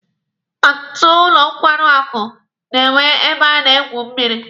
Ọtụtụ ụlọ nkwarị akụ na-enwe ebe a na-egwu mmịrị.